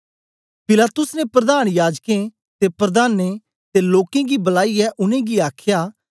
पिलातुस ने प्रधान याजकें ते प्रधाने ते लोकें गी बुलाईयै उनेंगी आखया